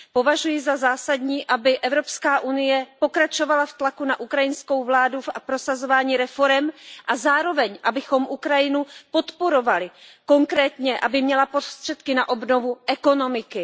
Považuji za zásadní, aby Evropská unie pokračovala v tlaku na ukrajinskou vládu a v prosazování reforem, a zároveň abychom Ukrajinu podporovali, konkrétně aby měla prostředky na obnovu ekonomiky.